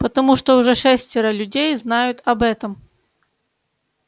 потому что уже шестеро людей знают об этом